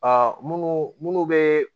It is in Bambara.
Aa munnu be